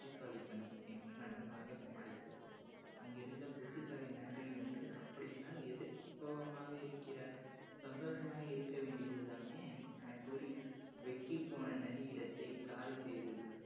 புத்திசாலித்தனம் என்று நன்றாக சமாளித்தது. அங்கிருந்த புத்திசாலி நரி ஒன்று அப்படி என்றால் எதற்கு சோகமாக இருக்கிறாய் சந்தோசமாக இருக்க வேண்டியது தானே எனக்கூறி போன நரி இடத்தை காலி செய்தது